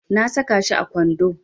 Na saka shi a kwando.